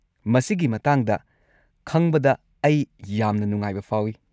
ꯃꯁꯤꯒꯤ ꯃꯇꯥꯡꯗ ꯈꯪꯕꯗ ꯑꯩ ꯌꯥꯝꯅ ꯅꯨꯡꯉꯥꯏꯕ ꯐꯥꯎꯏ꯫